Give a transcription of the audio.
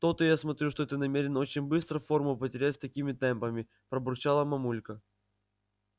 то-то я смотрю что ты намерен очень быстро форму потерять с такими темпами пробурчала мамулька